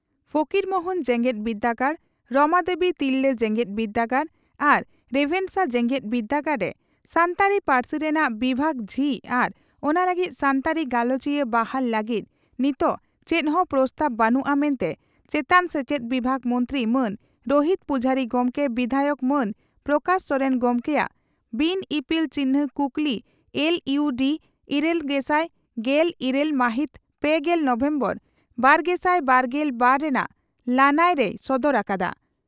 ᱯᱷᱚᱠᱤᱨᱢᱳᱦᱚᱱ ᱡᱮᱜᱮᱫ ᱵᱤᱨᱫᱟᱹᱜᱟᱲ ᱨᱚᱢᱟᱫᱮᱵᱤ ᱛᱤᱨᱞᱟᱹ ᱡᱮᱜᱮᱛ ᱵᱤᱨᱫᱟᱹᱜᱟᱲ ᱟᱨ ᱨᱮᱵᱷᱮᱱᱥᱟ ᱡᱮᱜᱮᱛ ᱵᱤᱨᱰᱟᱹᱜᱟᱲ ᱨᱮ ᱥᱟᱱᱛᱟᱲᱤ ᱯᱟᱹᱨᱥᱤ ᱨᱮᱱᱟᱜ ᱵᱤᱵᱷᱟᱜᱽ ᱡᱷᱤᱡ ᱟᱨ ᱚᱱᱟ ᱞᱟᱹᱜᱤᱫ ᱥᱟᱱᱛᱟᱲᱤ ᱜᱟᱞᱚᱪᱤᱭᱟᱹ ᱵᱟᱦᱟᱞ ᱞᱟᱹᱜᱤᱫ ᱱᱤᱛᱚᱜ ᱪᱮᱫ ᱦᱚᱸ ᱯᱨᱚᱥᱛᱟᱵᱽ ᱵᱟᱹᱱᱩᱜᱼᱟ ᱢᱮᱱᱛᱮ ᱪᱮᱛᱟᱱ ᱥᱮᱪᱮᱫ ᱵᱤᱵᱷᱟᱜᱽ ᱢᱚᱱᱛᱨᱤ ᱢᱟᱱ ᱨᱚᱦᱤᱛ ᱯᱩᱡᱟᱨᱤ ᱜᱚᱢᱠᱮ ᱵᱤᱫᱷᱟᱭᱚᱠ ᱢᱟᱱ ᱯᱨᱚᱠᱟᱥ ᱥᱚᱨᱮᱱ ᱜᱚᱢᱠᱮᱭᱟᱜ ᱵᱤᱱ ᱤᱯᱤᱞ ᱪᱤᱱᱦᱟᱹ ᱠᱩᱠᱞᱤ ᱮᱞ ᱤᱭᱩ ᱰᱤ ᱤᱨᱟᱹᱞᱥᱟᱭ ᱜᱮᱞ ᱤᱨᱟᱹᱞ ᱢᱟᱦᱤᱛ ᱯᱮᱜᱮᱞ ᱱᱚᱵᱷᱮᱢᱵᱚᱨ ᱵᱟᱨᱜᱮᱥᱟᱭ ᱵᱟᱨᱜᱮᱞ ᱵᱟᱨ ᱨᱮᱱᱟᱜ ᱞᱟᱹᱱᱟᱹᱭ ᱨᱮᱭ ᱥᱚᱫᱚᱨ ᱟᱠᱟᱫᱼᱟ ᱾